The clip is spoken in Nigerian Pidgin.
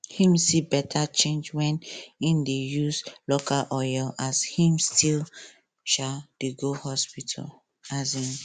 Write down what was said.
him see better change wen him dey use local oil as him still um dey go hospital um